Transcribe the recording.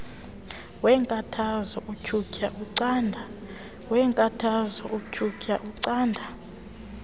weenkathazo utyhutyha ucanda